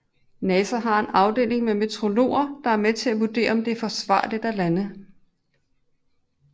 NASA har en afdeling med meteorologer der er med til at vurdere om det er forsvarligt at lande